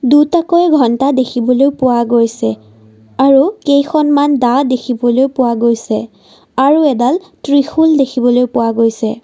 দুটাকৈ ঘন্টা দেখিবলৈ পোৱা গৈছে আৰু কেইখনমান দাঁ দেখিবলৈ পোৱা গৈছে আৰু এডাল ত্ৰিশূল দেখিবলৈ পোৱা গৈছে।